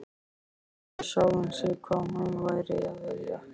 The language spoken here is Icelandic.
Spurði sjálfan sig hvað hún væri að vilja.